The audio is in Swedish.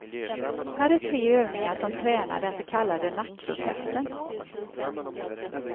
Här är tre övningar som tränar den så kallade nackrosetten.